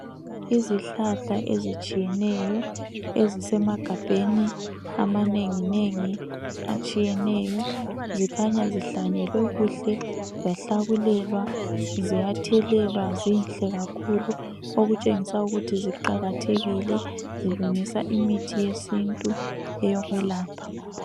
Izihlahla ezitshiyeneyo ezisemagabheni amanenginengi atshiyeneyo, zikhanya zihlanyelwe kuhle, zahlakulelwa, ziyathelelwa zinhle kakhulu . Okutshengisa ukuthi ziqakathekile zilungisa imithi yesintu eyokwelapha.